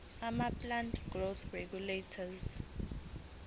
amaplant growth regulators